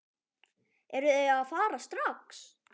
Eruð þið að fara strax?